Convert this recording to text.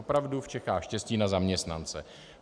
Opravdu v Čechách štěstí na zaměstnance.